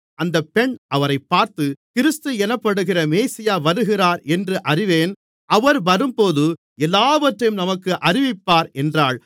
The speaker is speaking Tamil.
அந்த பெண் அவரைப் பார்த்து கிறிஸ்து எனப்படுகிற மேசியா வருகிறார் என்று அறிவேன் அவர் வரும்போது எல்லாவற்றையும் நமக்கு அறிவிப்பார் என்றாள்